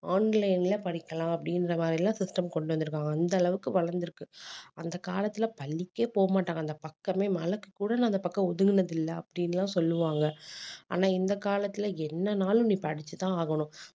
online ல படிக்கலாம் அப்படின்ற மாதிரி எல்லாம் system கொண்டு வந்திருக்காங்க அந்த அளவுக்கு வளர்ந்திருக்கு அந்த காலத்துல பள்ளிக்கே போக மாட்டாங்க அந்தப் பக்கமே மழைக்கு கூட நான் அந்தப் பக்கம் ஒதுங்குனது இல்லை அப்படின்னு எல்லாம் சொல்லுவாங்க ஆனா இந்தக் காலத்துல என்னனாலும் நீ படிச்சுதான் ஆகணும்